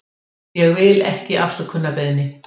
Ég vil ekki afsökunarbeiðni.